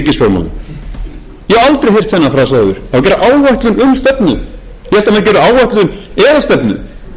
það á að gera áætlun um stefnu það á að beita sér fyrir því að mótuð